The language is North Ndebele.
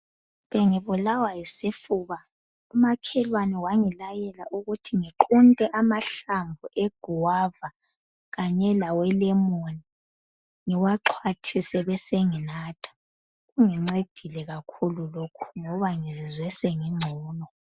Bengibulawa yisifuba umakhelwane wangilayela ukuthi ngiqunte amahlamvu egwava kanye lawelemoni ngiwaxhwathise besenginatha. Kungincedile kakhulu lokhu ngoba ngizwe sengingcono .